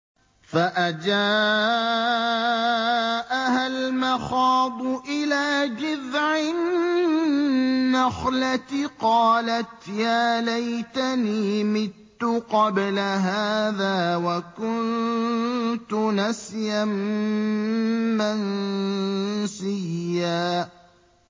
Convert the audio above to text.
فَأَجَاءَهَا الْمَخَاضُ إِلَىٰ جِذْعِ النَّخْلَةِ قَالَتْ يَا لَيْتَنِي مِتُّ قَبْلَ هَٰذَا وَكُنتُ نَسْيًا مَّنسِيًّا